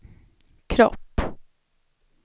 kropp